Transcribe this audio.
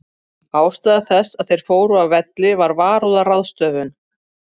Ástæða þess að þeir fóru af velli var varúðarráðstöfun.